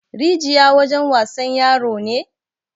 Rijiya wajen wasan yaro ne?